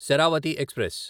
Sharavathi express